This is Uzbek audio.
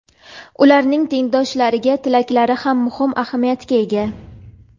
ularning tengdoshlariga tilaklari ham muhim ahamiyatga ega.